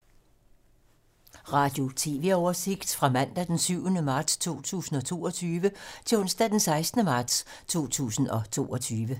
Radio/TV oversigt fra mandag d. 7. marts 2022 til onsdag d. 16. marts 2022